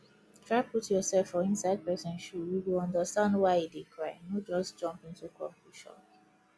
try put yourself for inside person shoe you go understand why e dey cry no just jump into conclusion